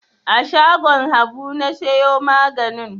A shagon Habu na siyo maganin.